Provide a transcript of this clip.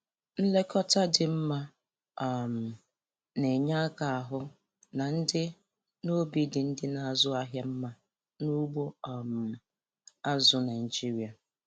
Nlekọta dị mma um na-enye aka ahụ na ndị na obi dị ndị na-azụ ahịa mma n' ugbo um azụ Naijiria